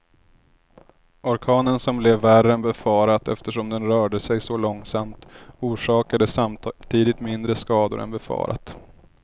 Orkanen som blev värre än befarat eftersom den rörde sig så långsamt, orsakade samtidigt mindre skador än befarat.